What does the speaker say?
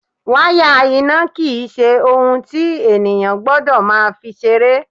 Wáyà iná kì í ṣe ohun tí ènìyàn gbọ́dọ̀ máa fi ṣeré.